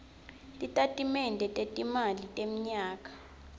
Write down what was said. titatimende tetimali temnyaka